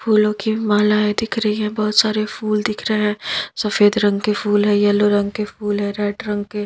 फूलों की मालाएं दिख रही है बहोत सारे फूल दिख रहे है सफेद रंग के फूल है येलो रंग के फूल है रेड रंग के--